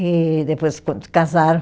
E depois, quando se casaram,